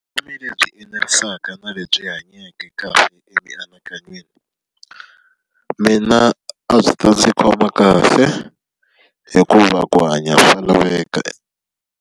Vutomi lebyi enerisaka ni lebyi hanyake kahle emianakanyweni. Mina a byi ta ndzi khoma kahle, hikuva ku hanya swa laveka .